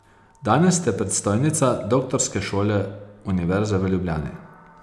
Danes ste predstojnica Doktorske šole Univerze v Ljubljani ...